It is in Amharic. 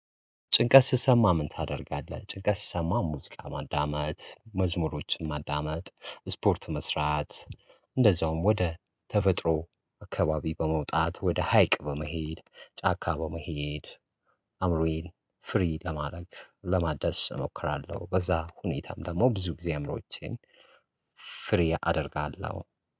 ጭንቀት ሲሰማ ምን ታደርጋለህ? ጭንቀት ስትሰማ ሙዝቃ ማዳመጥ መዝሙሮችን ማዳመጥ ስፖርት መስራት እንደዛውም ወደ ተፈጥሮ አካባቢ በመውጣት ወደ ሀይቅ በመሄድ ጫካ በመሄድ አእምሮዬን ፍሪ ለማድረግ ለማድረስ እሞክራለሁ። በዛ ሁኔታም ደግሞ ብዙ እግዚአብሮቼን ፍሬ አደርጋለሁ።